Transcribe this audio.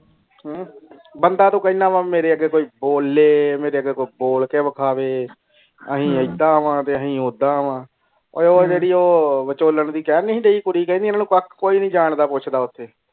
ਬੰਦਾ ਤੂੰ ਕੇਨਾ ਵ ਮੇਰੇ ਅਗੇ ਕੋਈ ਬੋਲੇ ਮੇਰੇ ਅਗੇ ਕੋਈ ਬੋਲ ਵਿਖਾਵੇ ਅਸੀਂ ਐਡਾ ਵ ਤੇ ਅਸੀਂ ਓਦਾਂ ਵ ਉਹ ਜੇਰੀ ਉਹ ਵਚੋਲਾਂ ਜੈ ਕਈਂ ਦੀ ਨੀ ਸੀ ਰੀ ਕੁੜੀ ਕੇਂਦੀ ਐਨਾ ਨੂੰ ਕੱਖ ਕੋਈ ਨੀ ਜਾਨ ਪੂਛਡਾ ਓਥੇ.